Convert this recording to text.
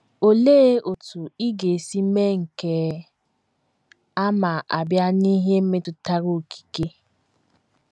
Olee otú ị ga - esi mee nke a ma a bịa n’ihe metụtara okike?